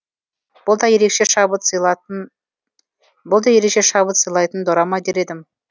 бұл да ерекше шабыт сыйлайтын дорама дер едім